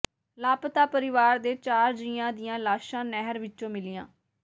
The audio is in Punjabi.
ਲਾਪਤਾ ਪਰਿਵਾਰ ਦੇ ਚਾਰ ਜੀਆਂ ਦੀਆਂ ਲਾਸ਼ਾਂ ਨਹਿਰ ਵਿੱਚੋਂ ਮਿਲੀਆਂ